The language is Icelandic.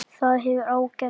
Það hefur ágerst.